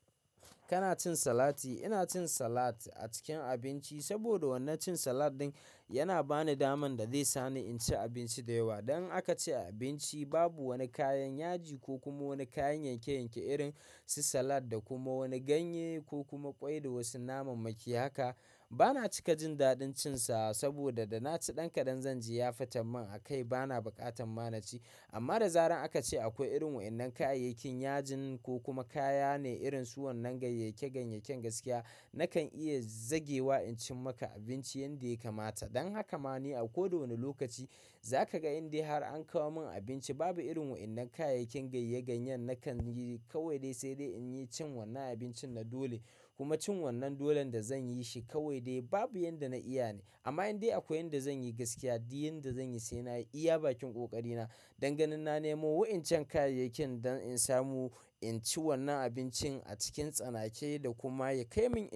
Kana cin salati? Ina cin salat a cikin abinci saboda wanan cin salat din yana bani daman da zai sani in ci abinci da yawa. Dan aka ci abinci babu wani kayan yaji ko kuma wani kayan yanke-yanke irin su salat da kuma wani ganye ko kuma ƙwai da wasu naman maki haka. Bana cika jin daɗin cin sa saboda da na ci ɗan kaɗan zan ji ya fata min a kai bana buƙatan ma na ci. Amma da zarar aka ce akwai irin waɗannan kayayyakin yajin ko kuma kaya ne irin su wannan ganye-ganyen gaskiya, nakan iya zagewa in cin maka abinci yanda ya kamata. Dan haka ma ne a koda wani lokaci za ka ga inda har an kawo min abinci babu irin waɗannan kayayyakin ganye-ganye nakan yi kawai dai sai dai in yi cin wannan abincin na dole kuma cin wannan dolen da zan yi shi kawai dai babu yan da na iya ne. Amma indai akwai inda zan yi gaskiya, di yanda zan yi sai na yi, iya bakin ƙoƙari na, danganin na nemo wa'incan kayayyakin don in samu in ci wannan abincin a cikin tsanake da kuma ya kai min.